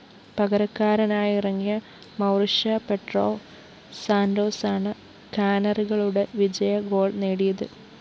പകരക്കാരനായിറങ്ങിയ Mauricio Pedro സാന്റോസാണ് കാനറികളുടെ വിജയ ഗോൾ നേടിയത്